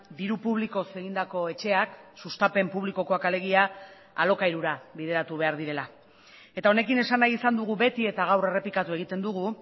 diru publikoz egindako etxeak sustapen publikokoak alegia alokairura bideratu behar direla eta honekin esan nahi izan dugu beti eta gaur errepikatu egiten dugu